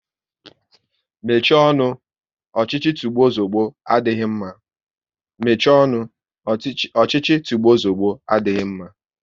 Mechie ọnụ! Ọchịchị tigbuo zugbo adịghị mma